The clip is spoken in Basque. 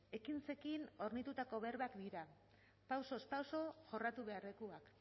ekintzekin hornitutako berbak dira pausoz pauso jorratu beharrekoak